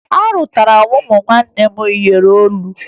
Arụtara m ụmụnne m iyeri olu